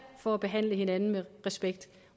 for at behandle hinanden med respekt